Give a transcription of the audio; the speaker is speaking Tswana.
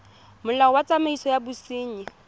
molao wa tsamaiso ya bosenyi